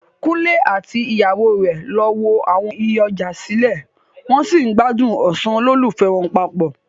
Kunle àti ìyàwó rẹ̀ lọ wo àwọn iye ọjà sílẹ̀, wọn sì ń gbádùn ọ̀sán olólùfẹ́ wọn papọ.